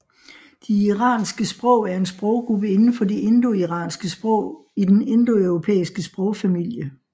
De iranske sprog er en sproggruppe inden for de indoiranske sprog i den indoeuropæiske sprogfamilie